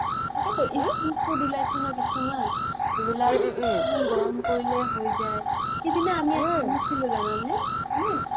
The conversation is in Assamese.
তকেইটো food উলাইছে নহয় কিছুমান যিবিলাক অলপ গৰম কৰিলেই হৈ যাই সিদিনা আমি এটা আনিছিলো জানা নে মানে